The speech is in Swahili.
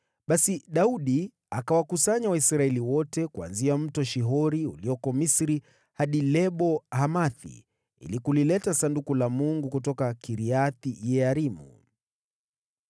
Basi Daudi akawakusanya Waisraeli wote, kuanzia Mto Shihori ulioko Misri hadi Lebo-Hamathi, ili kulileta Sanduku la Mungu kutoka Kiriath-Yearimu.